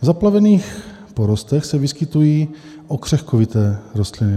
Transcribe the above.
V zaplavených porostech se vyskytují okřehkovité rostliny.